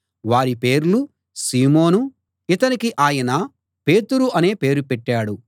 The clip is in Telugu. వారి పేర్లు సీమోను ఇతనికి ఆయన పేతురు అనే పేరు పెట్టాడు